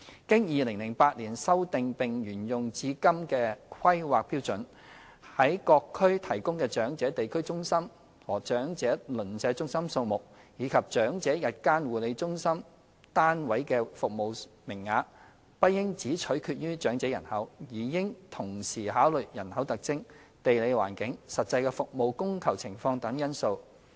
經2008年修訂並沿用至今的《規劃標準》，在各區提供的長者地區中心和長者鄰舍中心數目，以及長者日間護理中心/單位的服務名額，不應只取決於長者人口，而應同時考慮人口特徵、地理環境、實際的服務供求情況等因素。